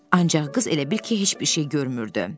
Ancaq qız elə bil ki, heç bir şey görmürdü.